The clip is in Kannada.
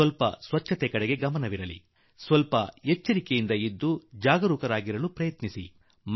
ಸ್ಲಲ್ಪ ಸ್ವಚ್ಛತೆಯ ಕಡೆ ಗಮನವಿದ್ದರೆ ಸ್ವಲ್ಪ ಎಚ್ಚರ ವಹಿಸಿದರೆ ಮತ್ತು ಸ್ವಲ್ಪ ಸುರಕ್ಷಿತವಿದ್ದರೆ ಇದು ಸಾಧ್ಯ